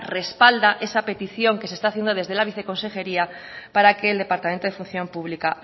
respalda esa petición que se está haciendo desde la viceconsejería para que el departamento en función pública